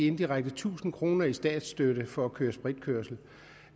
indirekte tusind kroner i statsstøtte for at køre spritkørsel